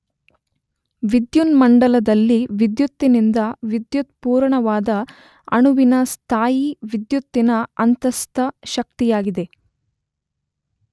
ವಿದ್ಯುನ್ಮಂಡಲದಲ್ಲಿ ವಿದ್ಯುತ್ತಿನಿಂದ ವಿದ್ಯುತ್ ಪೂರಣವಾದ ಅಣುವಿನ ಸ್ಥಾಯೀ ವಿದ್ಯುತ್ತಿನ ಅಂತಸ್ಥ ಶಕ್ತಿಯಾಗಿದೆ.